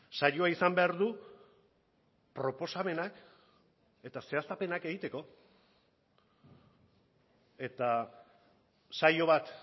saioa izan behar du proposamenak eta zehaztapenak egiteko eta saio bat